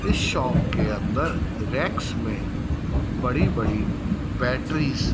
इस शॉप के अंदर रैक्स में बड़ी बड़ी बैटरीज़ --